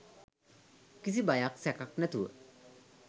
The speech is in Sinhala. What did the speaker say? කිසි බයක් සැකක් නැතුව